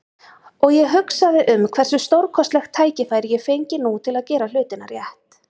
Og ég hugsaði um hversu stórkostlegt tækifæri ég fengi nú til að gera hlutina rétt.